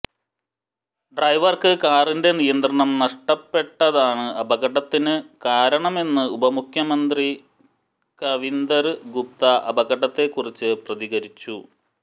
ഡ്രൈവര്ക്ക് കാറിന്റെ നിയന്ത്രണം നഷ്ടപ്പെട്ടതാണ് അപകടത്തിന് കാരണമെന്ന് ഉപമുഖ്യമന്ത്രി കവിന്ദര് ഗുപ്ത അപകടത്തെക്കുറിച്ച് പ്രതികരിച്ചു